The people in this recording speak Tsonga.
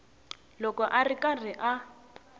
loko a ri karhi a